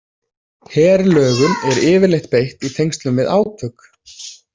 Herlögum er yfirleitt beitt í tengslum við átök.